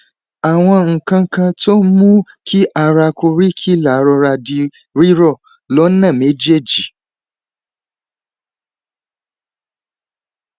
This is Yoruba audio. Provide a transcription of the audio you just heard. àwọn nǹkan kan tó ń mú kí ara koríkìlà rọra di rírọ lọnà méjèèjì